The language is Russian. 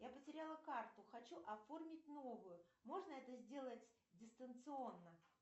я потеряла карту хочу оформить новую можно это сделать дистанционно